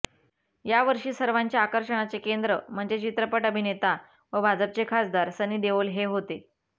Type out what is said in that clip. यावर्षी सर्वांच्या आकर्षणाचे केंद्र म्हणजे चित्रपट अभिनेता व भाजपचे खासदार सनी देओल हे होते